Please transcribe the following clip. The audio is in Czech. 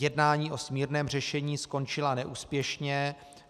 Jednání o smírném řešení skončila neúspěšně.